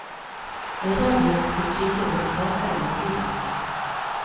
En radioaktiv kilde blir svakere med tiden.